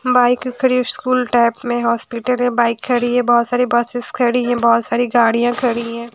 Bike खड़ी है school type में हॉस्पिटल है बाइक खड़ी है बहुत सारी बसेस खड़ी है बहुत सारी गाड़ियाँ खड़ी हैं।